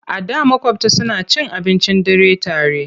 A da maƙwabta suna cin abincin dare tare.